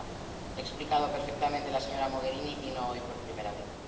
Lo ha explicado perfectamente la señora Mogherini, y no hoy por primera vez.